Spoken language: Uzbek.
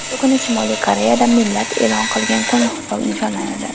Shu kuni Shimoliy Koreyada millat e’lon qilingan kun nishonlanadi.